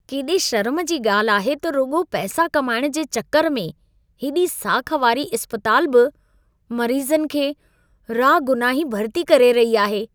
केॾे शर्म जी ॻाल्हि आहे त रुॻो पैसा कमाइण जे चकर में हेॾी साख वारी इस्पतालु बि मरीज़नि खे रागुनाही भर्ती करे रही आहे।